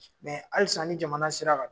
halisa ni jamana sera kan.